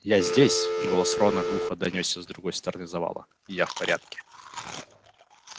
я здесь голос рона глухо донёсся с другой стороны завала я в порядке